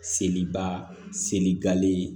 Seliba seli gale